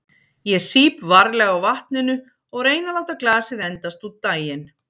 Ég sýp varlega á vatninu og reyni að láta glasið endast út daginn.